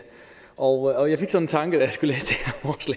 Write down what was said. og jeg fik så den tanke da